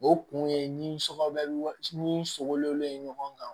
O kun ye ni sogo bɛ n sogolen ɲɔgɔn kan